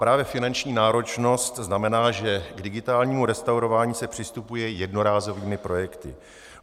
Právě finanční náročnost znamená, že k digitálnímu restaurování se přistupuje jednorázovými projekty.